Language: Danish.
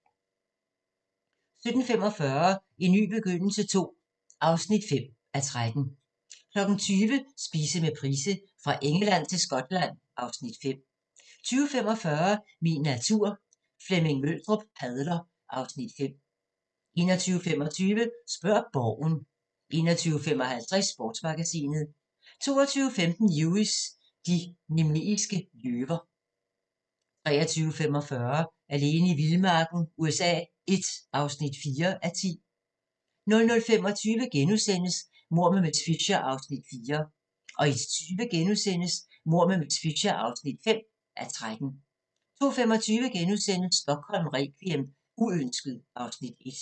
17:45: En ny begyndelse II (5:13) 20:00: Spise med Price – Fra Engeland til Skotland (Afs. 5) 20:45: Min natur - Flemming Møldrup padler (Afs. 5) 21:25: Spørg Borgen 21:55: Sportsmagasinet 22:15: Lewis: De nemeiske løver 23:45: Alene i vildmarken USA I (4:10) 00:25: Mord med miss Fisher (4:13)* 01:20: Mord med miss Fisher (5:13)* 02:25: Stockholm requiem: Uønsket (Afs. 1)*